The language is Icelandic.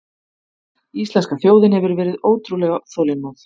Íslenska þjóðin hefur verið ótrúlega þolinmóð